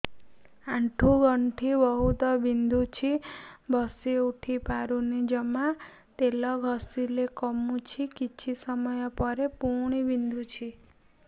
ଆଣ୍ଠୁଗଣ୍ଠି ବହୁତ ବିନ୍ଧୁଛି ବସିଉଠି ପାରୁନି ଜମା ତେଲ ଘଷିଲେ କମୁଛି କିଛି ସମୟ ପରେ ପୁଣି ବିନ୍ଧୁଛି